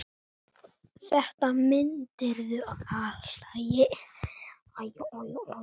Þetta mundir þú allt.